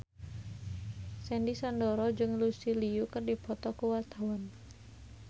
Sandy Sandoro jeung Lucy Liu keur dipoto ku wartawan